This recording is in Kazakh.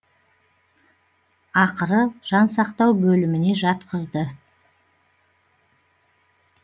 ақыры жан сақтау бөліміне жатқызды